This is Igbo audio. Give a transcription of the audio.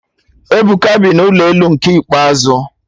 Ebuka bi n'ụlọ elu nke ikpeazụ